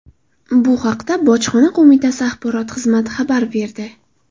Bu haqda bojxona qo‘mitasi axborot xizmati xabar berdi.